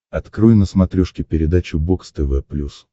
открой на смотрешке передачу бокс тв плюс